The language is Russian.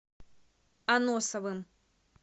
аносовым